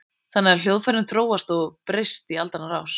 Þannig hafa hljóðfærin þróast og breyst í aldanna rás.